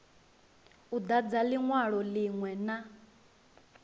u dadza linwalo linwe na